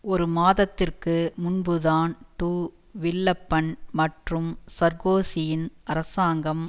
ஒரு மாதத்திற்கு முன்புதான் டு வில்லப்பன் மற்றும் சார்கோசியின் அரசாங்கம்